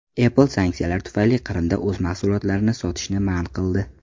Apple sanksiyalar tufayli Qrimda o‘z mahsulotlarini sotishni man qildi.